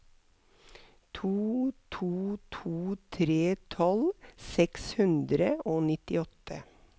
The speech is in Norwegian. to to to tre tolv seks hundre og nittiåtte